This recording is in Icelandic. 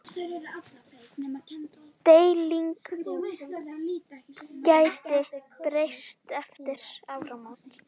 Deildin gæti breyst eftir áramót.